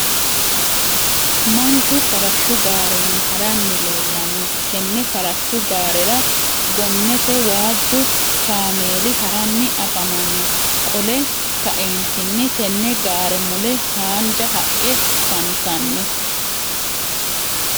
manchu farashu gaarenni haranni leelanno tenne farashu gaarera gonnete waaju cameeli haranni afamanno qolle ka'eenitinni tenne gaare mulle haanja haqe afanitanno.